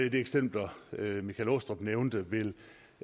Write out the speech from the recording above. af de eksempler herre michael aastrup jensen nævnte ville